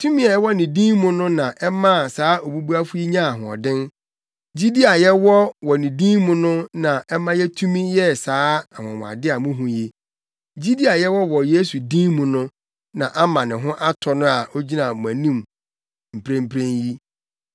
Tumi a ɛwɔ ne din mu no na ɛmaa saa obubuafo yi nyaa ahoɔden. Gyidi a yɛwɔ wɔ ne din mu no na ɛma yetumi yɛɛ saa anwonwade a muhu yi. Gyidi a yɛwɔ wɔ Yesu din mu no na ama ne ho atɔ no a ogyina mo anim mprempren yi.